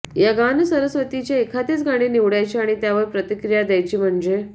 या गानसरस्वतीचे एखादेच गाणे निवडायचे आणि त्यावर प्रतिक्रिया द्यायची म्हणजे